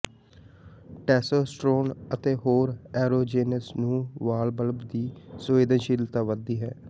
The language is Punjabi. ਟੈਸੋਸਟੋਰਨ ਅਤੇ ਹੋਰ ਐਰੋਜੈਂਨਜ਼ ਨੂੰ ਵਾਲ ਬਲਬ ਦੀ ਸੰਵੇਦਨਸ਼ੀਲਤਾ ਵਧਦੀ ਹੈ